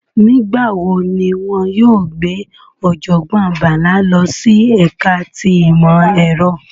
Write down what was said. Nigbawo ni wọn yóò gbe Ojogbon Bala lọ si ẹka ti imọ-ẹrọ?